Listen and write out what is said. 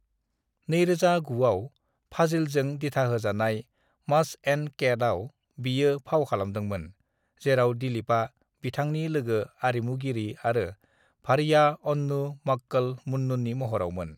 "2009 आव, फाजिलजों दिथाहोजानाय 'मस एण्ड केट' आव बियो फाव खालामदोंमोन, जेराव दिलीपआ बिथांनि लोगो-आरिमुगिरि आरो भार्या अन्नु मक्कल मुन्नुनि महरावमोन ।"